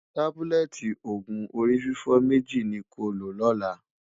tábúlẹ́tì ògún orí fífọ̀ méjì nì kò ló lólà